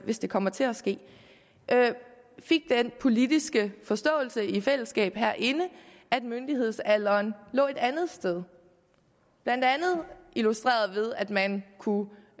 hvis det kommer til at ske fik den politiske forståelse i fællesskab herinde at myndighedsalderen lå et andet sted blandt andet illustreret ved at man kunne